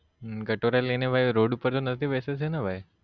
હમ કટોરા લઈને ભાઈ road ઉપર તો નથી બેસે છે ને ભાઈ